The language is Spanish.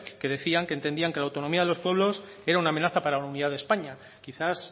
que decían que entendían que la autonomía de los pueblos era una amenaza para la unidad de españa quizás